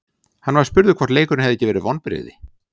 Hann var spurður hvort leikurinn hefði ekki verið vonbrigði.